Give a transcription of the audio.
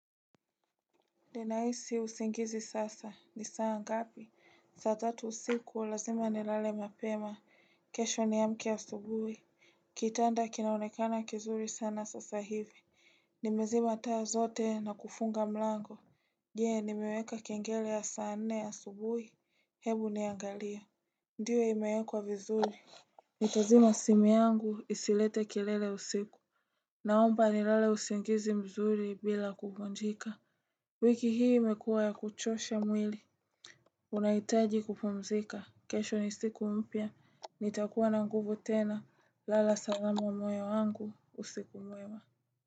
Ninahisi usingizi sasa, ni saa ngapi? Saa tatu usiku lazima nilale mapema kesho niamke asubuhi Kitanda kinaonekana kizuri sana sasa hivi Nimezima taa zote na kufunga mlango Je? Nimeweka kengele ya saa nne ya asubuhi? Hebu niangalie. Ndio imewekwa vizuri Nitazima simu yangu isilete kelele usiku Naomba nilale usingizi mzuri bila kugonjeka wiki hii imekua ya kuchosha mwili. Unahitaji kupumzika. Kesho ni siku mpya. Nitakuwa na nguvu tena. Lala salama moyo wangu. Usiku mwema.